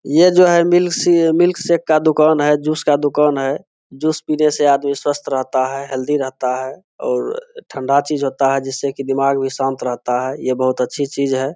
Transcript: ये जो है मिल्क मिल्‍कशेक का दुकान है जूस का दुकान है जूस पीने से आदमी स्‍वस्‍थ्‍य रहता है हेल्‍दी रहता है और अ ठंडा चीज होता है जिससे कि दिमाग भी शांत रहता है ये बहोत अच्‍छी चीज है।